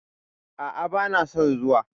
A'a, bana son zuwa.